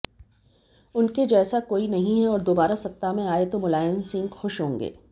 उनके जैसा कोई नहीं है और दोबारा सत्ता में आये तो मुलायम सिंह खुश होंगे